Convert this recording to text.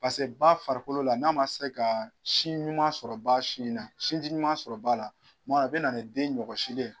paseke ba farikolo la , n'a ma se ka sin ɲuman sɔrɔ ba sin in na sinji ɲuman sɔrɔ ba la, a bɛ na ni den ɲɔkɔsili ye.